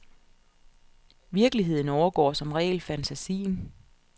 Virkeligheden overgår som regel fantasien.